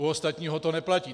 U ostatního to neplatí.